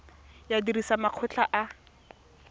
ya badiri le makgotla a